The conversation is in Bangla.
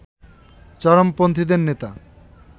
চরমপন্থীদের নেতা